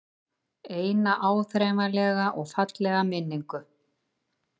Eina áþreifanlega og fallega minningu.